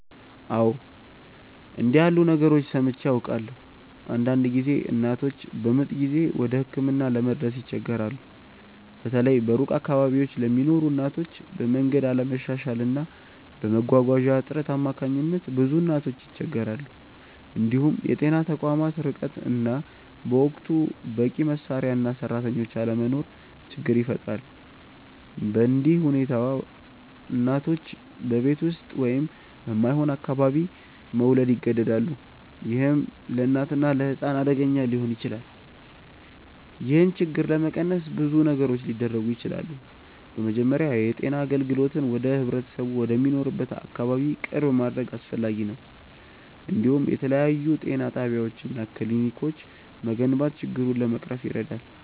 አዎ፣ እንዲህ ያሉ ነገሮችን ሰምቼ አውቃለሁ። አንዳንድ ጊዜ እናቶች በምጥ ጊዜ ወደ ሕክምና ለመድረስ ይቸገራሉ፤ በተለይ በሩቅ አካባቢዎች ለሚኖሩ እናቶች፤ በመንገድ አለመሻሻል እና በመጓጓዣ እጥረት አማካኝነት ብዙ እናቶች ይቸገራሉ። እንዲሁም የጤና ተቋማት ርቀት እና በወቅቱ በቂ መሳሪያ እና ሰራተኞች አለመኖር ችግር ይፈጥራል። በእንዲህ ሁኔታ እናቶች በቤት ውስጥ ወይም በማይሆን አካባቢ መውለድ ይገደዳሉ፣ ይህም ለእናትና ለሕፃን አደገኛ ሊሆን ይችላል። ይህን ችግር ለመቀነስ ብዙ ነገሮች ሊደረጉ ይችላሉ። በመጀመሪያ የጤና አገልግሎትን ወደ ህብረተሰቡ ወደሚኖርበት አካባቢ ቅርብ ማድረግ አስፈላጊ ነው፤ እንዲሁም የተለያዩ ጤና ጣቢያዎች እና ክሊኒኮች መገንባት ችግሩን ለመቅረፍ ይረዳል።